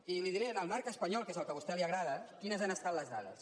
i li diré en el marc espanyol que és el que a vostè li agrada quines han estat les dades